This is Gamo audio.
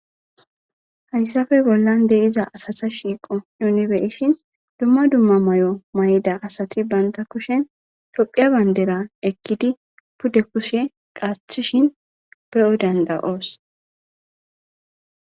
Hayssafe bollan deiza asata shiiqo yunbeishin dumma dumma may7o may7da asati banta kushen tophiya bayndera ekkidi pudde kushe qaathishin be7o danda7oos